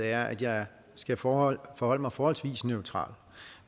er at jeg skal forholde forholde mig forholdsvis neutralt